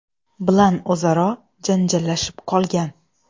bilan o‘zaro janjallashib qolgan.